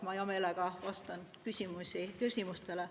Ma hea meelega vastan ka küsimustele.